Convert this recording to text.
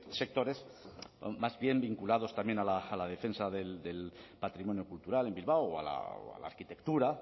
sectores más bien vinculados también a la defensa del patrimonio cultural en bilbao o a la arquitectura